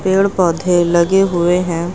पेड़ पौधे लगे हुए हैं।